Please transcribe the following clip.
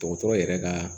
Dɔgɔtɔrɔ yɛrɛ ka